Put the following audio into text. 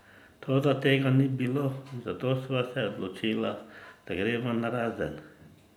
Toda tega ni bilo in zato sva se odločila, da greva narazen.